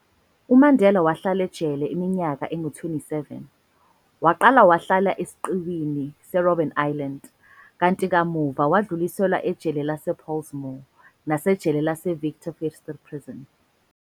UMandela wahlala ejele iminyaka engu 27, waqala wahlala esiqiwini se-Robben Island, kanti kamuva wadluliselwa ejele lase-Pollsmoor, nasejele lase-Victor Verster Prison.